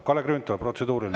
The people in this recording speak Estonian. Kalle Grünthal, protseduuriline.